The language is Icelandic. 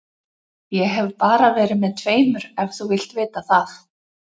Ég hef bara verið með tveimur ef þú vilt vita það.